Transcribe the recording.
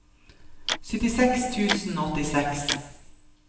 syttiseks tusen og åttiseks